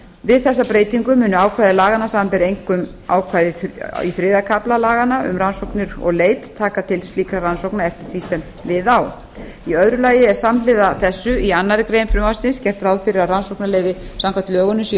við þessa breytingu munu ákvæði laganna samanber einkum ákvæði í þriðja kafla laganna um rannsóknir og leit taka til slíkra rannsókna eftir því sem við á í öðru lagi er samhliða þessu í annarri grein frumvarpsins gert ráð fyrir að rannsóknarleyfi samkvæmt lögunum séu